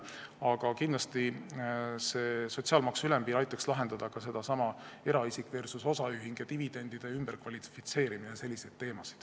Aga kindlasti aitaks sotsiaalmaksu ülempiir lahendada ka selliseid küsimusi nagu eraisik versus osaühing ja dividendide ümberkvalifitseerimine.